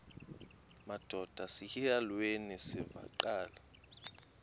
madod asesihialweni sivaqal